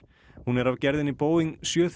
hún var af gerðinni Boeing sjö